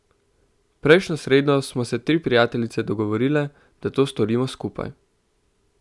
Prejšnjo sredo smo se tri prijateljice dogovorile, da to storimo skupaj.